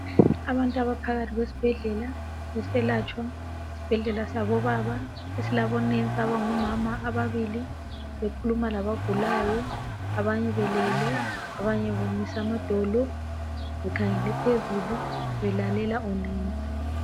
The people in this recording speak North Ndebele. Abantu abaphakathi kwesibhedlela beseletshwa isibhedlela sabo baba esilabomongikazi ababili bekhuluma labagulayo abanye belele abanye bemise amadolo bekhangele phezulu bebaxhwayisa ngumongikazi